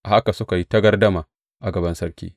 A haka suka yi ta gardama a gaban sarki.